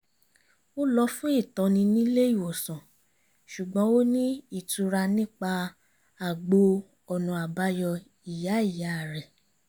ó lọ́ fún ìtọ́ni nílé ìwòsàn ṣùgbọ́n ó ní ìtura nípa àgbo ọ̀nà àbáyọ ìyá ìyá rẹ̀